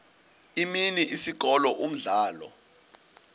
imini isikolo umdlalo